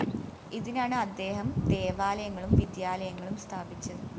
ഇതിനാണ് അദ്ദേഹം ദേവാലയങ്ങളും വിദ്യാലയങ്ങളും സ്ഥാപിച്ചത്